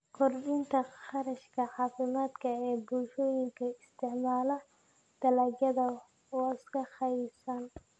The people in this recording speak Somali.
Kordhinta kharashka caafimaadka ee bulshooyinka isticmaala dalagyada wasakhaysan.